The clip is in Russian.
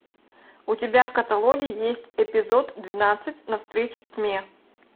у тебя в каталоге есть эпизод двенадцать навстречу тьме